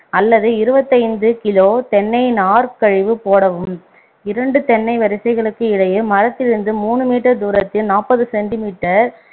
அல்லது இருபத்தைந்து kilo தென்னை நார்க் கழிவு போடவும் இரண்டு தென்னை வரிசைகளுக்கு இடையே மரத்திலிருந்து மூன்று meter தூரத்தில் நாப்பது centimeter